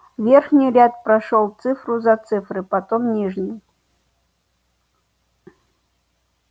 верхний ряд прошёл цифру за цифрой потом нижний